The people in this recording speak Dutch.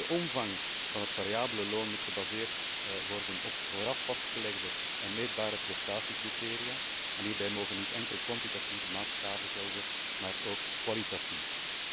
De omvang van het variabele loon moet gebaseerd worden op vooraf vastgelegde en meetbare prestatiecriteria en hierbij mogen niet enkel kwantitatieve maatstaven gelden, maar ook kwalitatieve.